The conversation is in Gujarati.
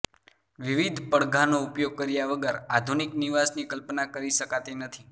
વિવિધ પડધાનો ઉપયોગ કર્યા વગર આધુનિક નિવાસની કલ્પના કરી શકાતી નથી